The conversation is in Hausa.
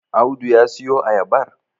Audu ya siyo ayabar?